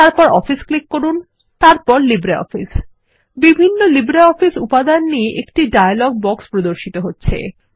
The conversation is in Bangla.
তারপর অফিস ক্লিক করুন তারপর লিব্রিঅফিস বিভিন্ন লিব্রিঅফিস উপাদান নিয়ে একটি ডায়লগ বাক্স প্রর্দশিত হচ্ছে